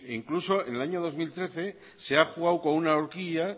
incluso en el año dos mil trece se ha jugado con una orquilla